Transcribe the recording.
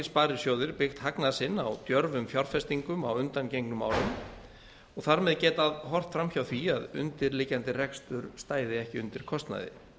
sparisjóðir byggt hagnað sinn á djörfum fjárfestingum á undangengnum árum og þar með getað horft fram hjá því að undirliggjandi rekstur stæði ekki undir kostnaði